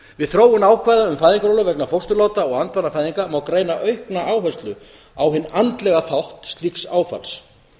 við þróun ákvæða um fæðingarorlof vegna fósturláta og andvanafæðinga má greina aukna áherslu á hinn andlega þátt slíks áfalls